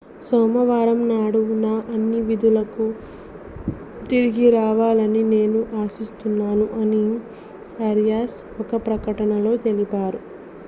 సోమవారం నాడు నా అన్ని విధులకు తిరిగి రావాలని నేను ఆశిస్తున్నాను' అని ఆరియాస్ ఒక ప్రకటనలో తెలిపారు